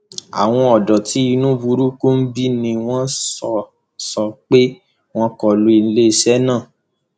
àwọn ọdọ tí inú burúkú ń bí ni wọn sọ sọ pé wọn kọ lu iléeṣẹ náà